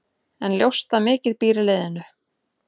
En ljóst að mikið býr í liðinu.